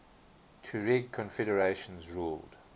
tuareg confederations ruled